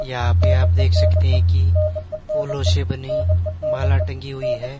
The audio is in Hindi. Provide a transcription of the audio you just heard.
यहां पे आप देख सकते हैं की फूलों से बनी माला टंगी हुई है।